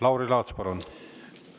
Lauri Laats, palun!